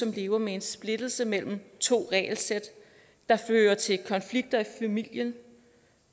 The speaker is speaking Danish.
lever med en splittelse mellem to regelsæt det fører til konflikter i familien